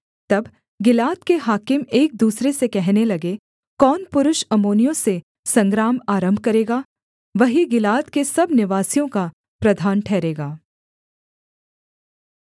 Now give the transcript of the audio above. तब गिलाद के हाकिम एक दूसरे से कहने लगे कौन पुरुष अम्मोनियों से संग्राम आरम्भ करेगा वही गिलाद के सब निवासियों का प्रधान ठहरेगा